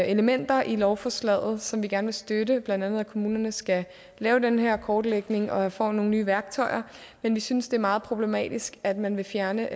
elementer i lovforslaget som vi gerne vil støtte blandt andet at kommunerne skal lave den her kortlægning og får nogle nye værktøjer men vi synes det er meget problematisk at man vil fjerne